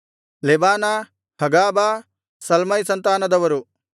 ಲೆಬಾನ ಹಗಾಬ ಸಲ್ಮೈ ಸಂತಾನದರು